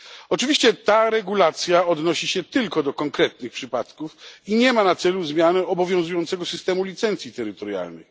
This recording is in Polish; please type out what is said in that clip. Oczywiście ta regulacja odnosi się tylko do konkretnych przypadków i nie ma na celu zmiany obowiązującego systemu licencji terytorialnych.